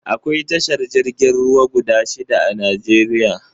Akwai tashar jirgin ruwa guda shida a Najeriya